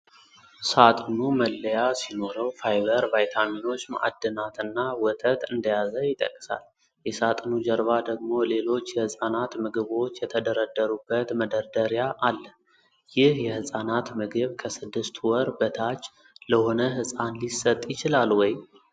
ሳጥኑ መለያ ሲኖረው፣ ፋይበር፣ ቫይታሚኖች፣ ማዕድናትና ወተት እንደያዘ ይጠቅሳል። የሳጥኑ ጀርባ ደግሞ ሌሎች የሕፃናት ምግቦች የተደረደሩበት መደርደሪያ አለ። ይህ የሕጻናት ምግብ ከስድስት ወር በታች ለሆነ ሕፃን ሊሰጥ ይችላል ወይ?